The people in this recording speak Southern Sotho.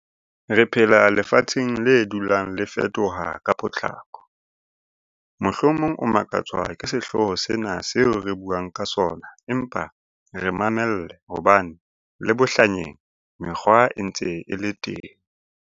Re phela lefatsheng le dulang le fetoha ka potlako. Mohlomong o makatswa ke sehlooho sena seo re buang ka sona empa re mamelle hobane le bohlanyeng mekgwa e ntse e le teng.